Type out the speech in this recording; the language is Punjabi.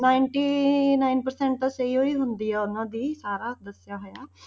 Ninety nine percent ਤਾਂ ਸਹੀ ਹੀ ਹੁੰਦੀ ਹੈ ਉਹਨਾਂ ਦੀ ਸਾਰਾ ਦੱਸਿਆ ਹੋਇਆ।